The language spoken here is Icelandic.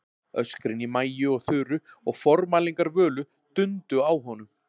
Öskrin í Maju og Þuru og formælingar Völu dundu á honum.